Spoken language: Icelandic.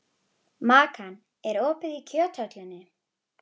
Makan, er opið í Kjöthöllinni?